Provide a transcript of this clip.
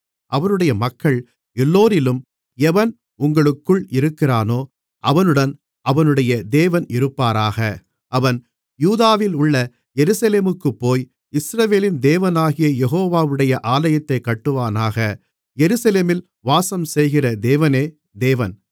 அவருடைய மக்கள் எல்லோரிலும் எவன் உங்களுக்குள் இருக்கிறானோ அவனுடன் அவனுடைய தேவன் இருப்பாராக அவன் யூதாவிலுள்ள எருசலேமுக்குப்போய் இஸ்ரவேலின் தேவனாகிய யெகோவாவுடைய ஆலயத்தைக் கட்டுவானாக எருசலேமில் வாசம்செய்கிற தேவனே தேவன்